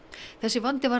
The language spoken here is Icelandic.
þessi vandi var